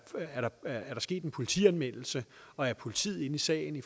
sket en politianmeldelse og er politiet inde i sagen i